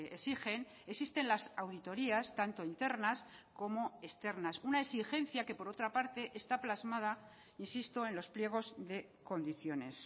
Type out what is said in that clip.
exigen existen las auditorías tanto internas como externas una exigencia que por otra parte está plasmada insisto en los pliegos de condiciones